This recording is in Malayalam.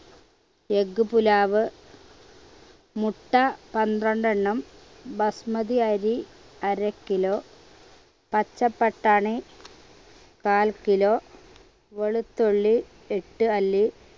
egg pulav മുട്ട പന്ത്രണ്ടെണ്ണം ബസ്മതി അരി അര kilo പച്ച പട്ടാണി കാൽ kilo വെളുത്തുള്ളി എട്ട് അല്ലി